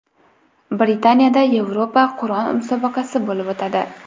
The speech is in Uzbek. Britaniyada Yevropa Qur’on musobaqasi bo‘lib o‘tadi.